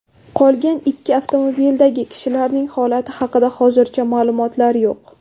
Qolgan ikki avtomobildagi kishilarning holati haqida hozircha ma’lumotlar yo‘q.